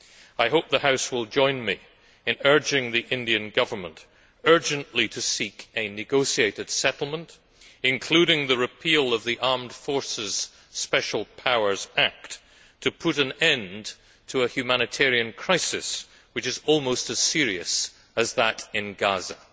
I hope the House will join me in urging the Indian Government urgently to seek a negotiated settlement, including the repeal of the Armed Forces Special Powers Act, to put an end to a humanitarian crisis which is almost as serious as that in Gaza.